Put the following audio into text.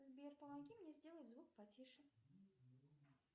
сбер помоги мне сделать звук потише